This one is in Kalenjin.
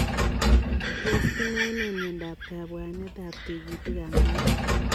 Tos kinae nee miondoop kabwanet ap tigitik ap moet?